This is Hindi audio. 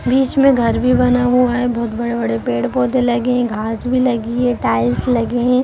बीच में घर भी बना हुआ है बहुत बड़े-बड़े पेड-पौधे लगे है घास भी लगी है टाइल्स भी लगे है।